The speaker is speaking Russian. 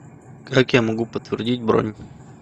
как я могу подтвердить бронь